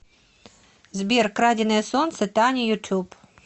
сбер краденое солнце таня ютуб